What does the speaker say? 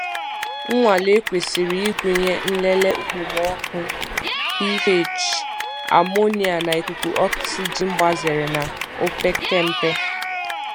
Nnwale kwesịrị ịgụnye nlele okpomọkụ, pH, amonia, na ikuku oxygen gbazere na opekempe.